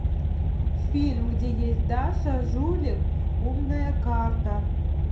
фильм где есть даша жулик умная карта